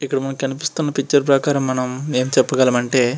ఇక్కడ మనకు కనిపిస్తున్న పిక్చర్ ప్రకారం ఎమ్ చెప్పగలం అంటే --